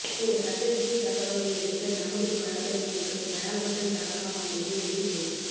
இந்த சட்ட விஷய தகவல்களை அளிக்க நமதூர் வளகரினர்கள் கயால்பட்டன் டாட் காம் ஆகியவை உதவி செய்யலாம்